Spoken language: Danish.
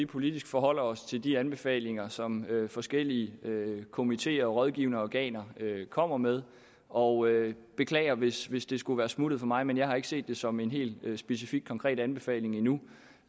vi politisk forholder os til de anbefalinger som forskellige komiteer og rådgivende organer kommer med og jeg beklager hvis hvis det skulle være smuttet for mig men jeg har ikke set det som en helt specifik konkret anbefaling endnu